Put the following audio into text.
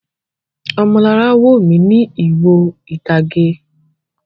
Ọmọlará wò mí ní ìwo ìtage.